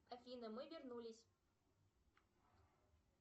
афина мы вернулись